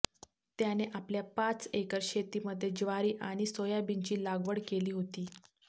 त्याने आपल्या पाच एकर शेतीमध्ये ज्वारी आणि सोयाबीनची लागवड केली होती